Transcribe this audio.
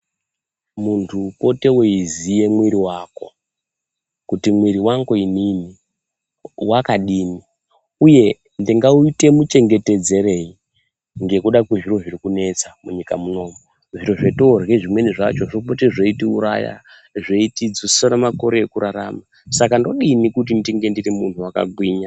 Muntu pote weiziya mwiri wako kuti mwiri wangu inin wakadini, uyu ndingawuite muchenhetedzerei ngekuda kwezviro zviri kunetsa munyika munomu. Zviro zvetorya zvimweni zvacho zvopote zveitiuraya, zveitidzisire makore ekurarama, Saka ndodini kuti ndinge ndiri munhu wakagwinya.